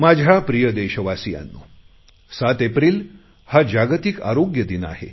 माझ्या प्रिय देशवासियांनो सात एप्रिल हा जागतिक आरोग्य दिन आहे